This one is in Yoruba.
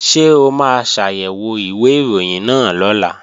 Ṣé o máa ṣàyẹ̀wò ìwé ìròyìn náà lọ́la?